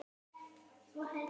Svönu verður sárt saknað.